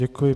Děkuji.